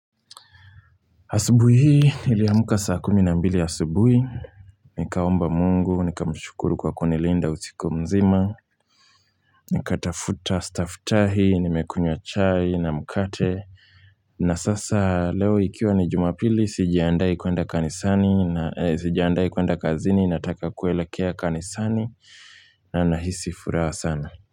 Asubuhi hii niliamka saa kumi na mbili asubuhi. Nikaomba mungu, nikamshukuru kwa kunilinda usiku mzima. Nikatafuta, staftahi, nimekunywa chai na mkate. Na sasa leo ikiwa ni jumapili, sijiandai kwenda kazini, nataka kuelekea kanisani na nahisi furaha sana.